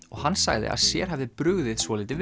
og hann sagði að sér hafi brugðið svolítið